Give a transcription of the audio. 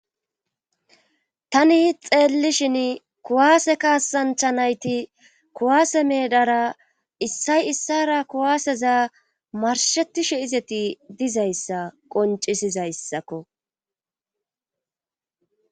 Tani xeellishin kuwaase kaasanchanayti kuwaase meedara issay issara kuwaaseza marshetishe izeti dizayssa qoncisizayssakko.